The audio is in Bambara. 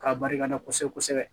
K'a barikada kosɛbɛ kosɛbɛ